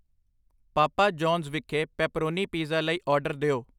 ਪਾਪਾ John's ਵਿਖੇ pepperoni pizza ਲਈ order ਦਿਓ